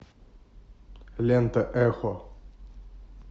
лента эхо